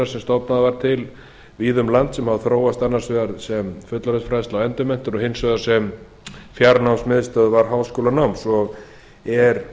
sem stofnað var til víða um land sem þróast annars vegar sem fullorðinsfræðsla og endurmenntun og hins vegar sem fjarnámsmiðstöðvar háskólanáms og er